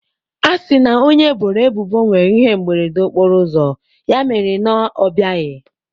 A sị na onye eboro ebubo nwere ihe mberede okporoụzọ, ya mere na ọ bịaghị.